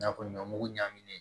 I n'a fɔ ɲɔ mugu ɲamin